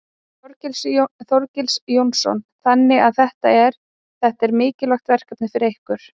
Þorgils Jónsson: Þannig að þetta er, þetta er mikilvægt verkefni fyrir ykkur?